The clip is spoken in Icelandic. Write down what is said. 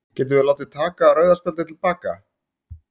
Getum við látið taka rauða spjaldið til baka?